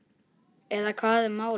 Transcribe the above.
Eða hvað er málið?